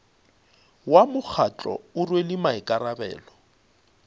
wa mokgatlo o rwele maikarabelo